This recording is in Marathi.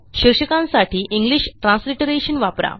शीर्षकांसाठी इंग्लिश ट्रान्सलिटरेशन वापरा